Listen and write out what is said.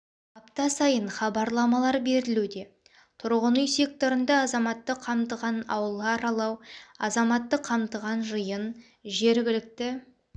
апта сайын хабарламалар берілуде тұрғын үй секторында азаматты қамтыған аула аралау азаматты қамтыған жиын жергілікті